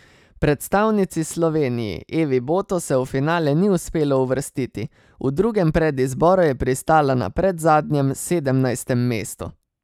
Predstavnici Sloveniji Evi Boto se v finale ni uspelo uvrstiti, v drugem predizboru je pristala na predzadnjem, sedemnajstem mestu.